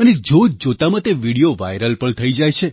અને જોતજોતામાં તે વિડિયો વાઇરલ પણ થઈ જાય છે